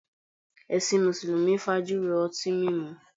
Ẹṣin Mùsùlùmí fájùró ọtín mímu